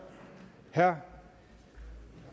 herre